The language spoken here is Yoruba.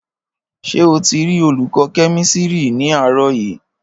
Ṣé o ti rí olùkọ́ kẹ́mísírì ní àárọ̀ yìí